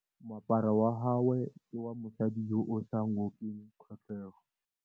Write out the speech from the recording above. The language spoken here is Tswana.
Moaparô wa gagwe ke wa mosadi yo o sa ngôkeng kgatlhegô.